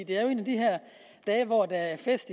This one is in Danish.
det er jo en af de her dage hvor der er fest